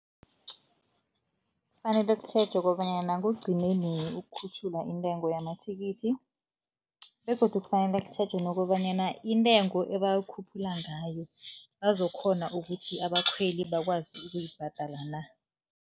Kufanele kutjhejwe kobanyana kugcine nini ukukhutjhulwa intengo yamathikithi begodu kufanele kutjhejwe nokobanyana intengo ebayikhuphula ngayo, bazokukghona ukuthi abakhweli bakwazi ukuyibhadala na.